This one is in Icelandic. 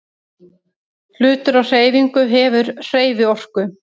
Hlutur á hreyfingu hefur hreyfiorku.